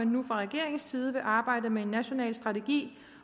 nu fra regeringens side vil arbejde med en national strategi